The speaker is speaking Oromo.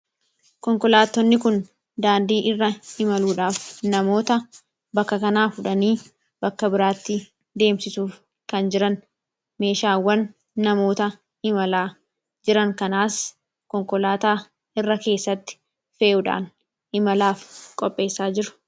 Konkolaatonni kun daandii irra imaluudhaaf namoota bakka kanaa fuudhanii bakka biraatti deemsisuuf kan jirani; akkasumas, meeshaa irra keessatti fe'uun imalaaf qopheessaa jiru.